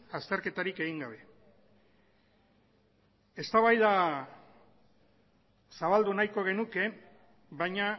azterketarik egin gabe eztabaida zabaldu nahiko genuke baina